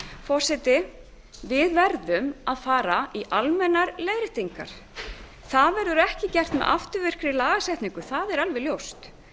forseti við verðum að fara í almennar leiðréttingar það verður ekki gert með afturvirkri lagasetningu það er alveg ljóst